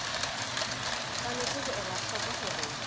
tshwanetse ho ela hloko hore